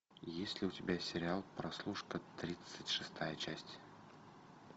есть ли у тебя сериал прослушка тридцать шестая часть